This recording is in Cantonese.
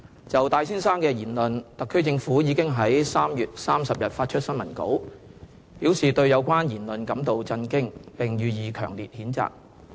就戴先生的言論，特區政府已於3月30日發出新聞稿，表示對有關言論感到震驚，並予以強烈譴責。